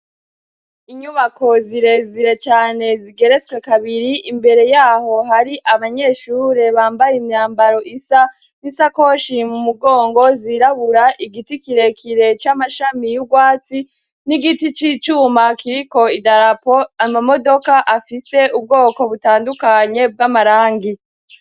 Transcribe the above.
Inyubako zirezire cane zigeretswe kabiri. Imbere yaho hari abanyeshure bambaye imyambaro isa n'isakoshi mu mugongo zirabura. Igiti kirekire c'amashami y'ugwatsi, n'igiti c'icuma kiriko idarapo. Amamodoka afise ubwoko butandukanye bw'amarangi.